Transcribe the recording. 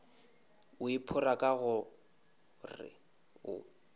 o iphora ka gore o